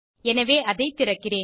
எனவே அதை திறக்கிறேன்